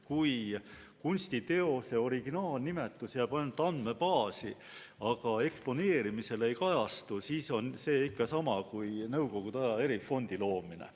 Kui kunstiteose originaalnimetus jääb ainult andmebaasi, aga eksponeerimisel ei kajastu, siis on see ikka sama kui nõukogude ajal erifondi loomine.